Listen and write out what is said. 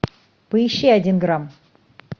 поищи один грамм